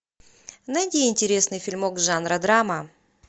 найди интересный фильмок жанра драма